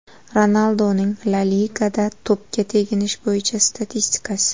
Ronalduning La Ligada to‘pga teginish bo‘yicha statistikasi.